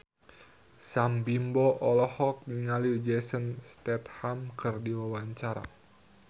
Sam Bimbo olohok ningali Jason Statham keur diwawancara